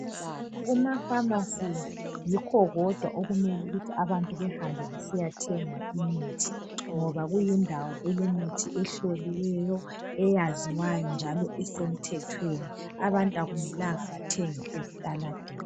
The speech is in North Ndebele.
Kuma pharmacies yikho kodwa okumele ukuthi abantu behambe besiyathenga imithi ngoba kuyindawo elemithi e ehloliweyo , eyaziwayo njalo esemthethweni abantu akumelanga bathenge ezitaladeni.